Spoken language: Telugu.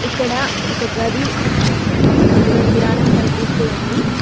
ఇక్కడ ఒక గది అందులో కిరాణం కనిపిస్తూ ఉంది.